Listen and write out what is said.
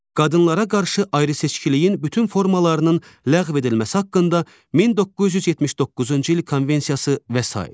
Qadınlara qarşı ayrı-seçkiliyin bütün formalarının ləğv edilməsi haqqında 1979-cu il konvensiyası və sair.